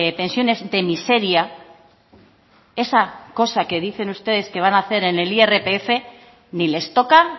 pensiones de miseria esa cosa que dicen ustedes que van hacer en el irpf ni les toca